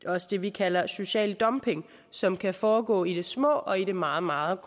også det vi kalder social dumping som kan foregå i det små og i det meget meget